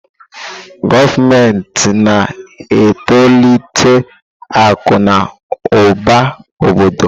Gọọmenti na-etolite akụ na ụba obodo.